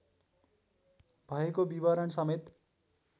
भएको विवरण समेत